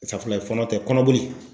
Safurulayi, fɔɔnɔ tɛ kɔnɔboli.